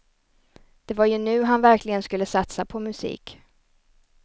Det var ju nu han verkligen skulle satsa på musik.